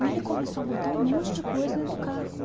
E ele começou a botar um monte de coisa dentro do carro.